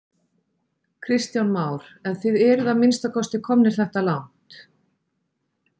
Kristján Már: En þið eruð að minnsta kosti komnir þetta langt?